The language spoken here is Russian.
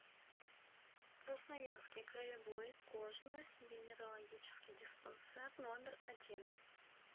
красноярский краевой кожно венерологический диспансер номер один